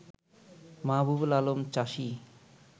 মাহবুবুল আলম চাষী